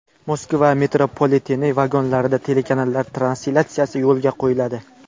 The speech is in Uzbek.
Moskva metropoliteni vagonlarida telekanallar translyatsiyasi yo‘lga qo‘yiladi.